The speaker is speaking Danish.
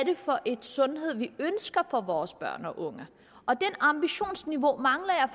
er for en sundhed vi ønsker for vores børn og unge det ambitionsniveau mangler jeg